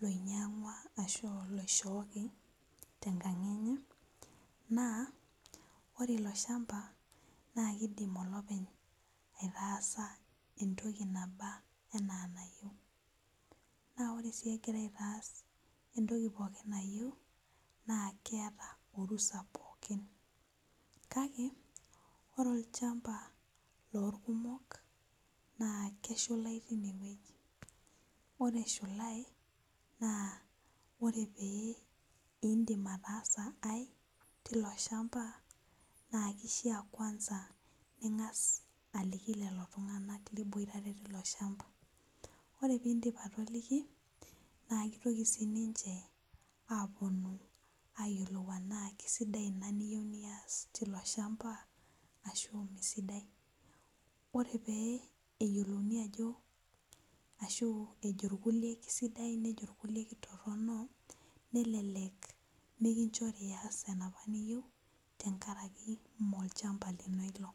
loinyangua ashu oloishooki tenkang enye na kidim olopeny aitaasa pookin toki nayieu naore si egira ataas entoki pookin nayieu na keeta orusa pooki kakeore olchamba lorkumok na keshulai tinewueji ore eshulai na ore tenindim ataasa aai tilo shamba na kidim si aliki lolo tunganak liboitare tilo shamba na ore pindip atoliki aponu ayilou ajo Kesidai ina niyieu nias tilo shamba ashu mesidai ore peyiolouni ajo ashu eji rkulie kesidai nejo rkulie ketok nelelek nikinchori ias enaapa niyieu amu molchamba lino ilo.